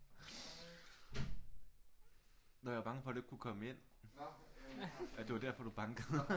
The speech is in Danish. Nå jeg var bange for at du ikke kunne komme ind at det var derfor du bankede